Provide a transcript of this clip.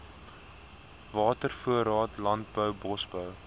watervoorraad landbou bosbou